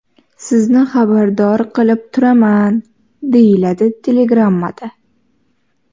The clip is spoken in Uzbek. Sizni xabardor qilib turaman”, deyiladi telegrammada.